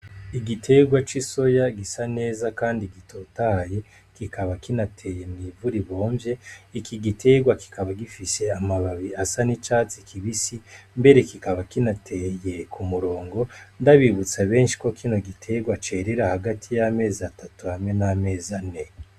Igiterwa c'isoya gisa neza kandi gitotahaye, kikaba kinateye mw'ivu ribomvye, iki giterwa kikaba gifise amababi asa n'icatsi kibisi ,mbere kikaba kinateye k'umurongo, ndabibutsa benshe ko kino giterwa cerera hagati yamezi atatu hamwe n'amezi ane.